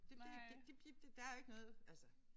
Det det det det det der jo ikke noget altså